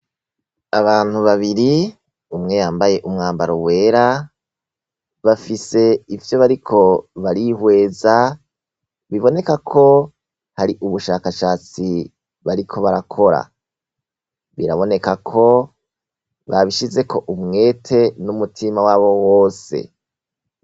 Abantu babiri, umwe yambaye umwambaro wera, bafise ivyo bariko barihweza, biboneka ko ari ubushakashatsi bariko barakora. Biraboneka ko babishizeko umwete n'umutima wabo wose.